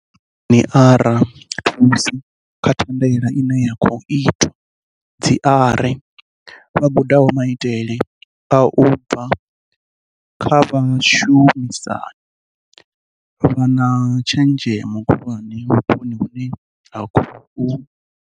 Ndi vhainzhinieravha thusi kha thandela ine ya khou itwa vha gudaho maitele u bva kha vhashu misani vha na tshenzhemo khulwane vhuponi hune ha khou